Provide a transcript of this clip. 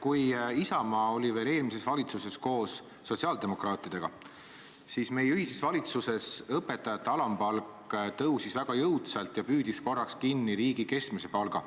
Kui Isamaa oli veel eelmises valitsuses koos sotsiaaldemokraatidega, siis meie ühises valitsuses tõusis õpetajate alampalk väga jõudsalt ja püüdis korraks kinni riigi keskmise palga.